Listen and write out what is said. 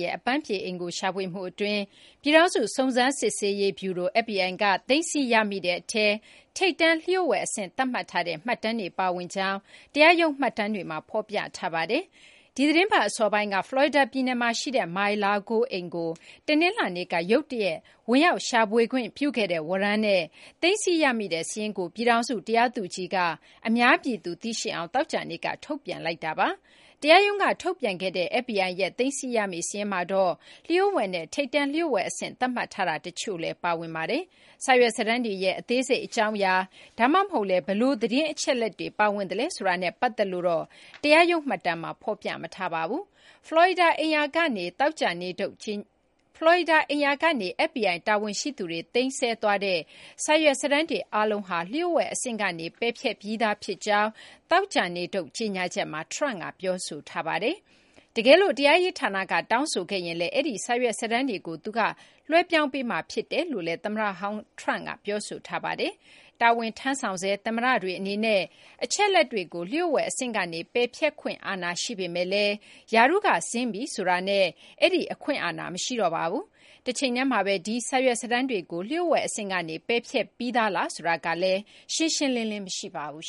ရဲ့ အပမ်းဖြေအိမ်ကို ရှာဖွေမှုအတွင်း ပြည်ထောင်စု စုံစမ်းစစ်ဆေးရေးဗျုရို (FBI) က သိမ်းဆည်းရမိတဲ့အထဲ ထိပ်တန်း လျှို့ဝှက်အဆင့် သတ်မှတ်ထားတဲ့ မှတ်တမ်းတွေ ပါဝင်ကြောင်း တရားရုံးမှတ်တမ်းတွေမှာ ဖော်ပြထားပါတယ်။ ဒီသီတင်းပတ် အစောပိုင်းက ဖလော်ရီဒါ ပြည်နယ်မှာ ရှိတဲ့ Mar-a-Lago အိမ်ကို တနင်္လာနေ့က ရုတ်တရက် ဝင်ရောက်ရှာဖွေခွင့် ပြုခဲ့တဲ့ ဝရမ်းနဲ့ သိမ်းဆည်းရမိတဲ့ စာရင်းကို ပြည်ထောင်စု တရားသူကြီးက အများပြည်သူ သိရှိအောင် သောကြာနေ့က ထုတ်ပြန်လိုက်တာပါ။ တရားရုံးက ထုတ်ပြန်ခဲ့တဲ့ FBI ရဲ့ သိမ်းဆည်းရမိ စာရင်းမှာတော့ လျို့ဝှက်နဲ့ ထိပ်တန်းလျို့ဝှက်အဆင့် သတ်မှတ်ထားတာ တချို့လည်း ပါဝင်ပါတယ်။ စာရွက်စာတမ်းတွေရဲ့ အသေးစိတ် အကြောင်းအရာ ဒါမှမဟုတ်လည်း ဘယ်လို သတင်းအချက်အလက်တွေ ပါဝင်သလဲ ဆိုတာနဲ့ ပတ်သက်လို့တော့ တရားရုံး မှတ်တမ်းမှာ ဖော်ပြမထားပါဘူး။ ဖလော်ရီဒါ အိမ်ယာကနေ FBI တာဝန်ရှိသူတွေ သိမ်းဆည်းသွားတဲ့ စာရွက်စာတမ်းတွေ အားလုံးဟာ လျို့ဝှက် အဆင့်ကနေ ပယ်ဖျက်ပြီးသား ဖြစ်ကြောင်း သောကြာနေ့ထုတ် ကြေညာချက်မှာ Trump က ပြောဆိုထားပါတယ်။ တကယ်လို့ တရားရေး ဌာနက တောင်းဆိုခဲ့ရင်လည်း အဲဒီ စာရွက်စာတမ်းတွေကို သူက လွှဲပြောင်းပေးမှာ ဖြစ်တယ်လို့လည်း သမ္မတဟောင်း Trump က ပြောဆိုထားပါတယ်။ တာဝန်ထမ်းဆောင်ဆဲ သမ္မတတွေ အနေနဲ့ အချက်အလက်တွေကို လျို့ဝှက် အဆင့်ကနေ ပယ်ဖျက်ခွင့်အာဏာ ရှိပေမယ့်လည်း ရာထူးက ဆင်းပြီ ဆိုတာနဲ့ အဲဒီ အခွင့်အာဏာ မရှိတော့ပါဘူး။ တချိန်တည်းမှာဘဲ ဒီ စာရွက်စာတမ်းတွေကို လျို့ဝှက် အဆင့်ကနေ ပယ်ဖျက်ပြီးသားလားဆိုတာကလည်း ရှင်းရှင်းလင်းလင်း မရှိပါဘူး